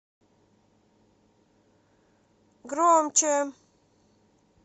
громче